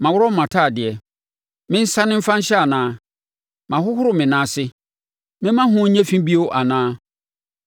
Maworɔ mʼatadeɛ, mensane mfa nhyɛ anaa? Mahohoro me nan ase, memma ho nyɛ fi bio anaa?